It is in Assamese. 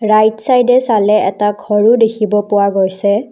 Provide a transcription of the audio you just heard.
ৰাইটছাইডে চালে এটা ঘৰো দেখিব পোৱা গৈছে।